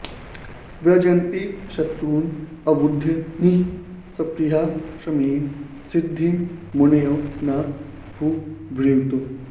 व्रजन्ति शत्रून् अवधूय निःस्पृहाः शमेन सिद्धिं मुनयो न भूभृतः